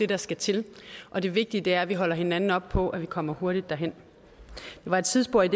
der skal til og det vigtige er at vi holder hinanden og på at vi kommer hurtigt derhen det var et sidespring